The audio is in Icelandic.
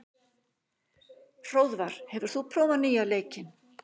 Hróðvar, hefur þú prófað nýja leikinn?